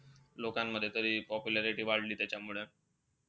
लोकांमध्ये तरी popularity वाढली त्याच्यामुळे.